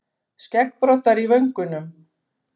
Skeggbroddar í vöngunum.